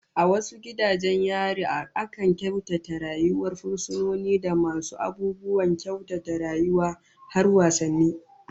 A wasu gidajen yarin akan kyautata rayuwar fursunoni da wasu abubuwan saukin rayuwa, har wasanni